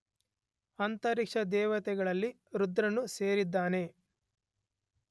ಅಂತರಿಕ್ಷದೇವತೆಗಳಲ್ಲಿ ರುದ್ರನೂ ಸೇರಿದ್ದಾನೆ.